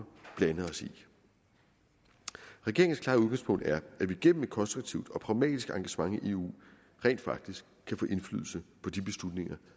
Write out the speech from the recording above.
blande os regeringens klare udgangspunkt er at vi gennem et konstruktivt og pragmatisk engagement i eu rent faktisk kan få indflydelse på de beslutninger